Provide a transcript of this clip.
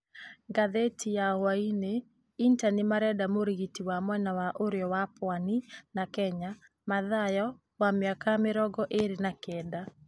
(Ngathĩti ya hwainĩ). Inter nĩmarenda mũrigitĩri wa mwena wa ũrĩo wa Pwani na Kenya, Mathayo wa mĩaka mĩrongo ĩrĩ na kenda.